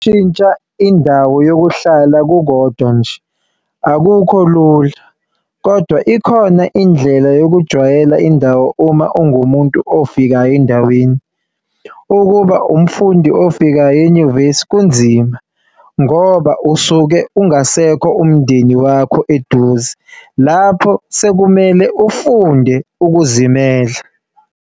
Shintsha indawo yokuhlala kukodwa nje akukho Lula kodwa ikhona indlela yokujwayela indawo uma ungumuntu ofikayo endaweni. Ukuba umfundi ofikayo enyuvesi kunzima ngoba usuke ungasekho umndeni wakho eduze lapho sekumele ufunde ukuzimela.